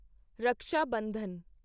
Raksha Bandhan